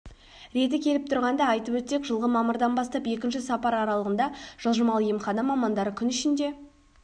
реті келіп тұрғанда айтып өтсек жылғы мамырдан бастап екінші сапары аралығында жылжымалы емхана мамандары күн ішінде